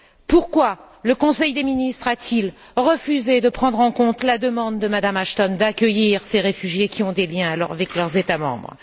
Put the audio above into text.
Pourquoi le Conseil des ministres a t il refusé de prendre en compte la demande de Mme Ashton d'accueillir ces réfugiés qui ont des liens avec leurs États membres?